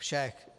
Všech.